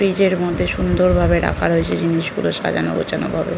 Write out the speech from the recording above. Fridge -এর মধ্যে সুন্দর ভাবে রাখা রয়েছে জিনিসগুলো সাজানো গোছানো ভাবে।